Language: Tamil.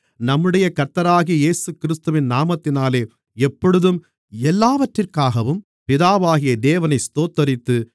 நம்முடைய கர்த்தராகிய இயேசுகிறிஸ்துவின் நாமத்தினாலே எப்பொழுதும் எல்லாவற்றிற்காகவும் பிதாவாகிய தேவனை ஸ்தோத்திரித்து